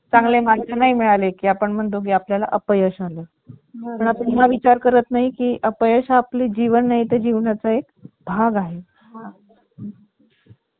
काम करत करत त्याच्यावर गाणी आणि किंवा एखादा interview whatever जे काही तुम्हाला ज्या गोष्टी आवडतात ते आपण ऐकू शकतो. काम करत करत वायफाय किंवा ब्लूटूथ म्हटलं तर ती सुद्धा सुविधा आहे.